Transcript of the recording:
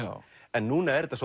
en núna er þetta